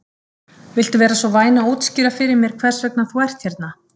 Viltu vera svo væn að útskýra fyrir mér hvers vegna þú ert hérna?